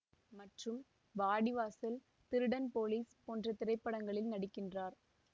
மற்றும் வாடி வாசல் திருடன் போலீஸ் போன்ற திரைப்படங்களில் நடிகின்றார்